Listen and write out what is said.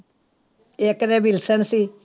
ਇੱਕ ਦਾ ਵਿਲਸਨ ਸੀ।